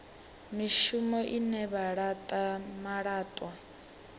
mishumo ine vha laṱa malaṱwa